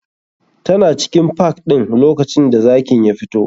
Tana cikin park ɗin lokacin da zakin ya fito.